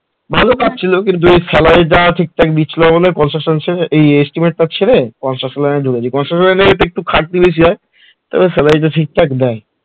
ভালো কাজ ছিল কিন্তু salary টা ঠিকঠাক দিচ্ছিল না বলে construction ছেড়ে এই estimate এর কাজ ছেড়ে construction line এ ঢুকেছি construction line এ খাটনি বেশি হয় তবে salary টা ঠিকঠাক দেয়